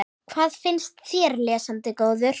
Hvað finnst þér, lesandi góður?